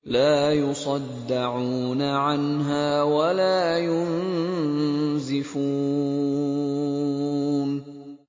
لَّا يُصَدَّعُونَ عَنْهَا وَلَا يُنزِفُونَ